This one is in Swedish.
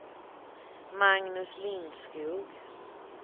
Magnus Lindskog